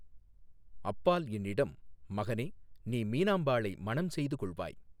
அப்பால் என்னிடம், மகனே, நீ மீனாம்பாளை மணஞ் செய்து கொள்வாய்.